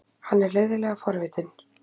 Hann er leiðinlega forvitinn.